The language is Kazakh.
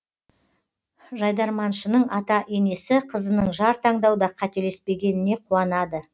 жайдарманшының ата енесі қызының жар таңдауда қателеспегеніне қуанады